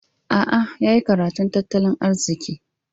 A'a, ya yi karatun tattalin arziki.